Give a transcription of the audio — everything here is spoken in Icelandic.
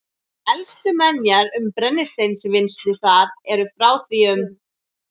Elstu menjar um brennisteinsvinnslu þar eru frá því um